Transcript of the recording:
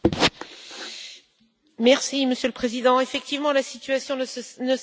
Monsieur le Président, effectivement, la situation ne cesse de se détériorer aux Philippines.